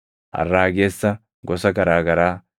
arraagessa gosa garaa garaa,